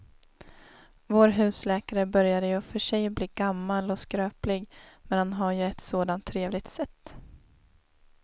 Vår husläkare börjar i och för sig bli gammal och skröplig, men han har ju ett sådant trevligt sätt!